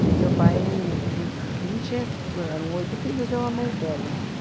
E meu pai e não tinha... que eram oito filhos e eu a mais velha.